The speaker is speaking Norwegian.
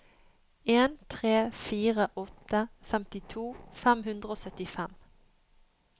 en tre fire åtte femtito fem hundre og syttifem